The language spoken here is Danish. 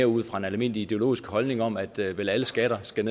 ud fra en almindelig ideologisk holdning om at vel vel alle skatter skal